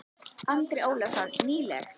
Andri Ólafsson: Nýleg?